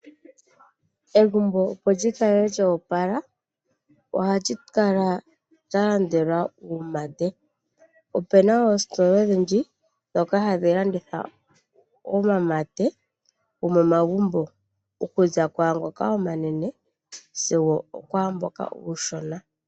Egumbo opo lyikale lya opala ohalyikala lyalandelwa uumate. Opena oositola odhindji dhoka hadhi landitha omamate gomo magumbo okuza kwaangoka omanene sigo okwaamboka uushona.